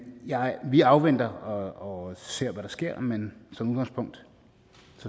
vi afventer og og ser hvad der sker men som udgangspunkt